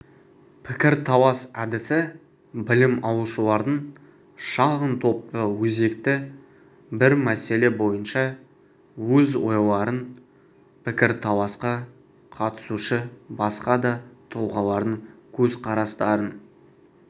пікірталас әдісі білім алушылардың шағын топта өзекті бір мәселе бойынша өз ойларын пікірталасқа қатысушы басқа да тұлғалардың көзқарастарын